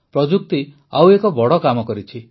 ପ୍ରଯୁକ୍ତି ଆଉ ଏକ ବଡ଼ କାମ କରିଛି